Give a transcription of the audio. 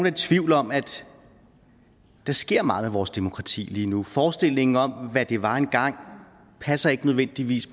i tvivl om at der sker meget med vores demokrati lige nu forestillingen om hvad det var en gang passer ikke nødvendigvis